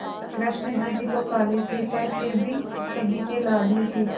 कृष्ण जी भी तो काले थे पर फिर भी सभी के लाडले थे